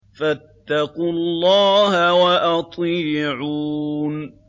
فَاتَّقُوا اللَّهَ وَأَطِيعُونِ